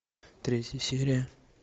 третья серия